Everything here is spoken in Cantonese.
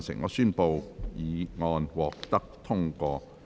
我宣布議案獲得通過。